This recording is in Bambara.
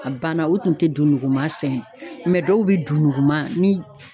A banna u tun tɛ du nguma sɛnɛ dɔw bɛ don nuguman ni